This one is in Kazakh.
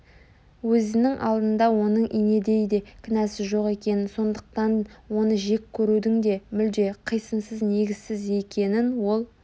Өзінің алдыңда оның инедейде кінәсі жоқ екенін сондықтан оны жек көрудің де мүлде қисынсыз негізсіз екенін ол